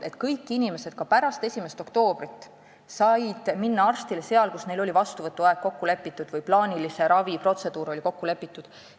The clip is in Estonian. Kõik inimesed said ka pärast 1. oktoobrit minna arsti juurde sinna, kus neil oli vastuvõtuaeg või plaanilise ravi protseduur kokku lepitud.